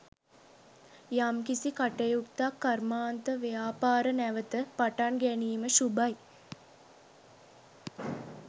යම් කිසි කටයුත්තක් කර්මාන්තව්‍යාපාර නැවත පටන් ගැනීම ශුභයි